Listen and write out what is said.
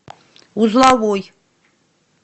узловой